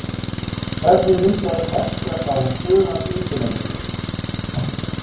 Hvernig myndaðist Hestfjall á Suðurlandsundirlendinu?